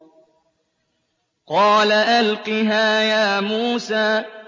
قَالَ أَلْقِهَا يَا مُوسَىٰ